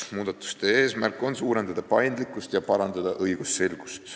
Muudatuste eesmärk on suurendada paindlikkust ja parandada õigusselgust.